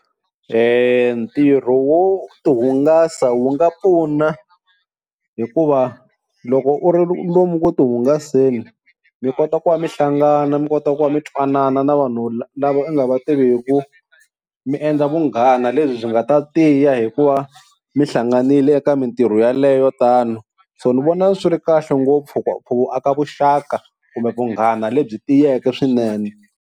Ntirho wo tihungasa wu nga pfuna hikuva loko u ri lomu ku tihungasela mi kota ku va mi hlangana mi kota ku va mi twanana na vanhu lava nga va tiviku, mi endla vunghana lebyi nga ta tiya hikuva mi hlanganile eka mintirho yaleyo tano. So ni vona swi ri kahle ngopfu ku aka vuxaka kumbe vunghana lebyi tiyeke swinene.